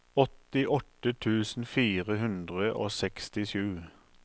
åttiåtte tusen fire hundre og sekstisju